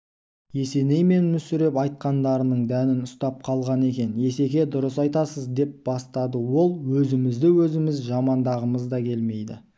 есеней мен мүсіреп айтқандарының дәнін ұстап қалған екен есеке дұрыс айтасыз деп бастады ол өзімізді өзіміз жамандағымыз да келмейді